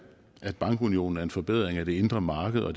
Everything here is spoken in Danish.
bankunionen er en forbedring af det indre marked og